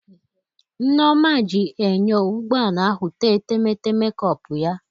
Nneoma ji enyo ụgbọ ala ahụ tee etemeete mekọpụ ya